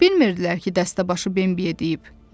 Bilmirdilər ki, dəstəbaşı Bembiyə deyib: